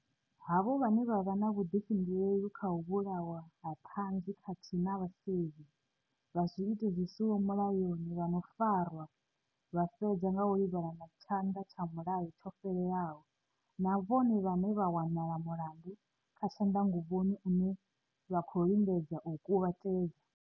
Havho vhane vha vha na vhudifhinduleli kha u vhulawa ha thanzi khathihi na vhasevhi vha zwiito zwi siho mulayoni vhano farwa vha fhedza nga u livhana na tshanda tsha mulayo tsho fhelelaho, na vhone vhane vha wanala mulandu wa tshandanguvhoni une vha khou lingedza u u kuvhatedza.